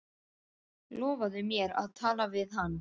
Lofaðu mér að tala við hana.